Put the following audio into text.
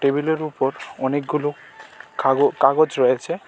টেবিলের উপর অনেকগুলো কাগ-কাগজ রয়েছে .